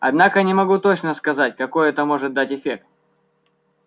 однако не могу точно сказать какой это может дать эффект